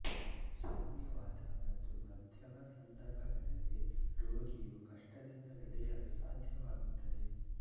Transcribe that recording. ಸೌಮ್ಯವಾದ ಮತ್ತು ಮಧ್ಯಮ ಸಂದರ್ಭಗಳಲ್ಲಿ ರೋಗಿಯು ಕಷ್ಟದಿಂದ ನಡೆಯಲು ಸಾಧ್ಯವಾಗುತ್ತದೆ